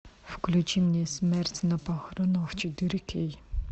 включи мне смерть на похоронах четыре кей